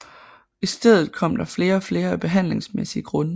I stedet kom der flere og flere af behandlingsmæssige grunde